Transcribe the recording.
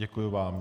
Děkuji vám.